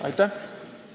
Aitäh!